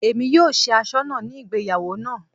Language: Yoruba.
Èmi yóò ṣe asọ́nà ní ìgbéyàwó náà